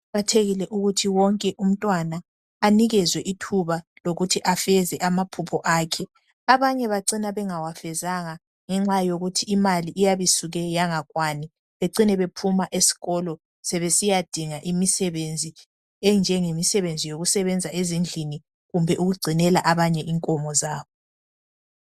Kuqakathekile ukuthi wonke umntwana aphiwe ithuba lokuthi afeze amaphupho akhe abanye bacina bengawafezanga ngenxa yokuthi imali iyabe isuke yangakwani becine bephuma esikolo sebesiya dinga imisebenzi enjenge misebenzi yokusebenza ezindlini kumbe ukugcinela abanye inkomo zabo.